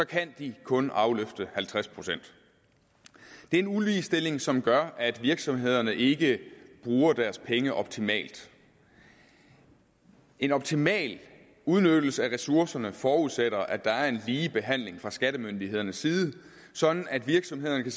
kan de kun afløfte halvtreds procent det er en uligestilling som gør at virksomhederne ikke bruger deres penge optimalt en optimal udnyttelse af ressourcerne forudsætter at der er en lige behandling fra skattemyndighedernes side sådan at virksomhederne kan